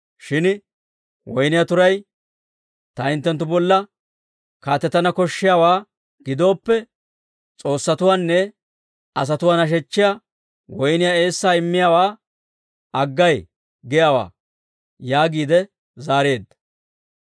Shin woyniyaa turay, ‹Ta hinttenttu bolla kaatetana koshshiyaawaa gidooppe, s'oossatuwaanne asatuwaa nashechiyaa woyniyaa eessaa immiyaawaa aggay giyaawaa› yaagiide zaareedda.